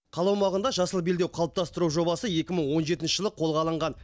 қала аумағында жасыл белдеу қалыптастыру жобасы екі мың он жетінші жылы қолға алынған